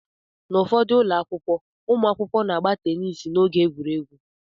N'ufodu ụlọ akwụkwọ, ụmụakwụkwọ na-agba teniisi n'oge egwuregwu.